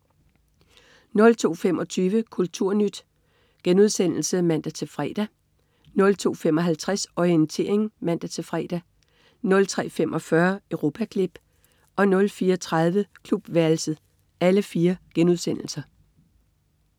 02.25 Kulturnyt* (man-fre) 02.55 Orientering* (man-fre) 03.45 Europaklip* 04.30 Klubværelset*